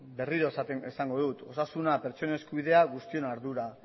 berriro esango dut osasuna pertsonen eskubidea guztion ardura